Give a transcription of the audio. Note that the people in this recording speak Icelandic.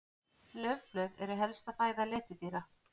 Laufblöð eru helsta fæða letidýra.